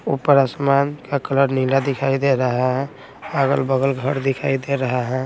ऊपर आसमान का कलर नीला दिखाई दे रहा है अगल-बगल घर दिखाई दे रहा है।